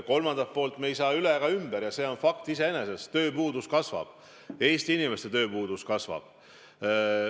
Kolmandaks, me ei saa üle ega ümber faktist, et tööpuudus kasvab, Eesti inimeste tööpuudus kasvab.